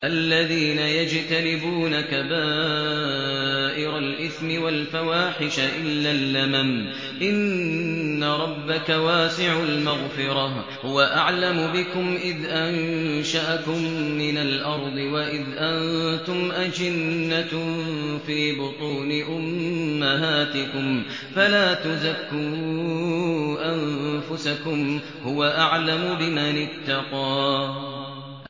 الَّذِينَ يَجْتَنِبُونَ كَبَائِرَ الْإِثْمِ وَالْفَوَاحِشَ إِلَّا اللَّمَمَ ۚ إِنَّ رَبَّكَ وَاسِعُ الْمَغْفِرَةِ ۚ هُوَ أَعْلَمُ بِكُمْ إِذْ أَنشَأَكُم مِّنَ الْأَرْضِ وَإِذْ أَنتُمْ أَجِنَّةٌ فِي بُطُونِ أُمَّهَاتِكُمْ ۖ فَلَا تُزَكُّوا أَنفُسَكُمْ ۖ هُوَ أَعْلَمُ بِمَنِ اتَّقَىٰ